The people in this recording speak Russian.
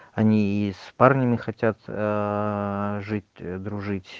они и с парнями хотят аа жить дружить